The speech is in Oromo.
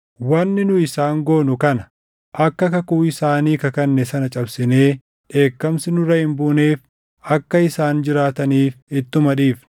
Wanni nu isaan goonu kana: Akka kakuu isaanii kakanne sana cabsinee dheekkamsi nurra hin buuneef akka isaan jiraataniif ittuma dhiifna.”